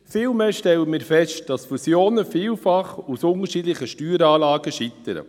Vielmehr stellen wir fest, dass Fusionen vielfach an unterschiedlichen Steueranlagen scheitern: